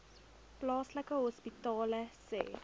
plaaslike hospitale sê